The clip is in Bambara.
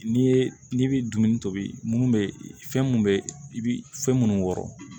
N'i ye n'i bɛ dumuni tobi mun bɛ fɛn mun be i bi fɛn munnu wɔrɔn